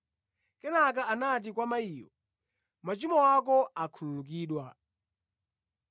Kenaka anati kwa mayiyo, “Machimo ako akhululukidwa.”